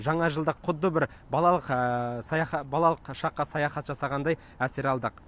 жаңа жылдық құдды бір балалық саяхат балалық шаққа саяхат жасағандай әсер алдық